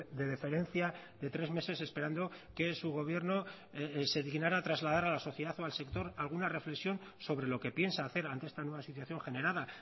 de deferencia de tres meses esperando que su gobierno se dignara a trasladar a la sociedad o al sector alguna reflexión sobre lo que piensa hacer ante esta nueva situación generada